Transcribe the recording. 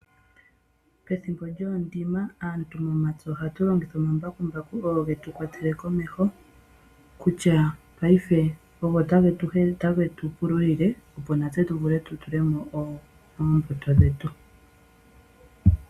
Pethimbo lyoondima aantu momapya ohatu longitha omambakumbaku ogo getu kwatele komeho, kutya paife ogo tage tu helele, otage tu pululile opo natse tutule mo oombuto dhetu.